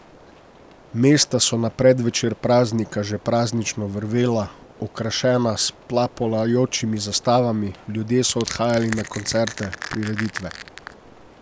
Mesta so na predvečer praznika že praznično vrvela, okrašena s plapolajočimi zastavami, ljudje so odhajali na koncerte, prireditve.